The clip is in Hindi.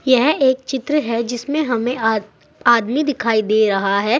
यह एक चित्र है जिसमें हमें आ आदमी दिखाई दे रहा है।